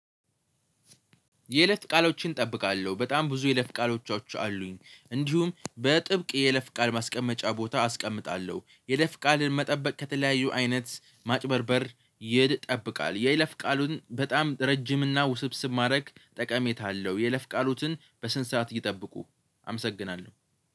የይለፍ ቃሎችን ጠብቃለሁ በጣም ብዙ የለፍ ቃሎቻቸው አሉኝ እንዲሁም በጥብቅ የይለፍ ቃል ማስቀመጫ ቦታ አስቀምጣለሁ የለፍ ቃልን መጠበቅ ከተለያዩ አይነት ማጭበርበር ይጠብቃል የለፍ ቃሉን በጣም ረጅም እና ውስብስብ ማድረግ ጠቀሜታ አለው የይለፍ ቃሎትን በስነ ስርዓት ይጠብቁ። አመሰግናለሁ